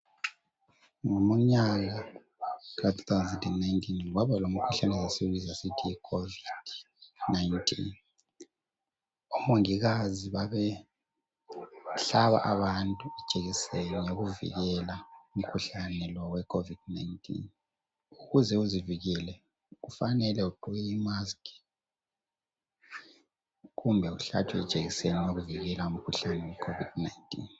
Ngomnyaka ka 2019, kwaba lomkhuhlane esasiwubiza sisithi COVID 19. Omongikazi babehlaba abantu ijekiseni yokuvikela umkhuhlane lo we COVID 19. Ukuze uzivikele kufanele ugqoke imask kumbe uhlatshwe ijekiseni yokuvikela umkhuhlane weCOVID 19.